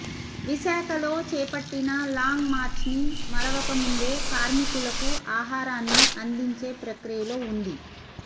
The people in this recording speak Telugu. విశాఖలో చేపట్టిన లాంగ్ మార్చ్ ని మరవక ముందే కార్మికులకు ఆహారాన్ని అందించే ప్రక్రియ లో వుంది